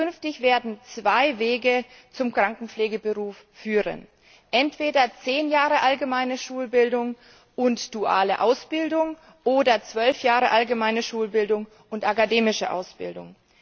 Künftig werden zwei Wege zum Krankenpflegeberuf führen entweder zehn Jahre allgemeine Schulbildung und duale Ausbildung oder zwölf Jahre allgemeine Schulbildung und akademische Ausbildung.